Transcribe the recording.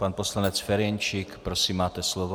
Pan poslanec Ferjenčík, prosím, máte slovo.